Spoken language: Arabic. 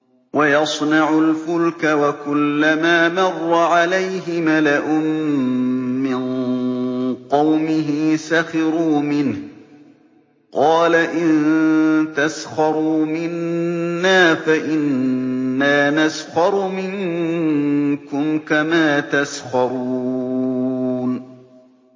وَيَصْنَعُ الْفُلْكَ وَكُلَّمَا مَرَّ عَلَيْهِ مَلَأٌ مِّن قَوْمِهِ سَخِرُوا مِنْهُ ۚ قَالَ إِن تَسْخَرُوا مِنَّا فَإِنَّا نَسْخَرُ مِنكُمْ كَمَا تَسْخَرُونَ